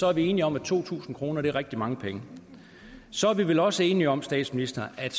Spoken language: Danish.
er enige om at to tusind kroner er rigtig mange penge så er vi vel også enige om statsminister at